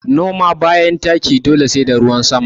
Noma bayan taki dole sai da ruwan sama